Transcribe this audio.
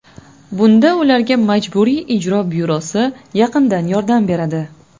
Bunda ularga Majburiy ijro byurosi yaqindan yordam beradi.